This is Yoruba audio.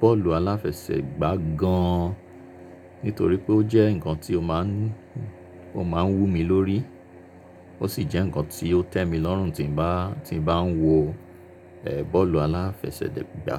bọ́ọ̀lù aláfẹsẹ̀gbá gan nítorí pé ó jẹ́ ǹkan tí ó máa ń, ó máa ń wú mi lórí. Ó sì jẹ́ ǹkan tí ó tẹ́ mi lọ́rùn tí bá, tí bá ń wo, ẹ, bọ́ọ̀lù aláfẹsẹ̀degbá.